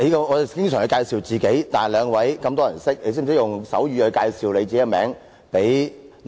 我們經常介紹自己，但兩位有這麼多人認識，你們懂得用手語向聾啞人士介紹自己嗎？